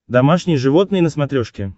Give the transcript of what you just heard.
домашние животные на смотрешке